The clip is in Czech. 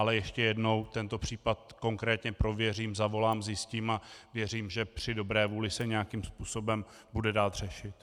Ale ještě jednou, tento případ konkrétně prověřím, zavolám, zjistím a věřím, že při dobré vůli se nějakým způsobem bude dát řešit.